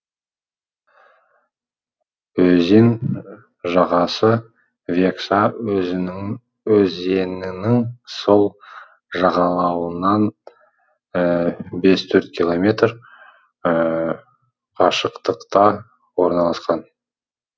өзен жағасы векса өзенінің сол жағалауынан бес төрт километр қашықтықта орналасқан